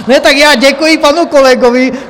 Ne, tak já děkuji panu kolegovi.